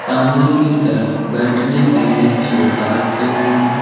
सामने की तरफ बैठने के लिए सोफा रखें हुए हैं।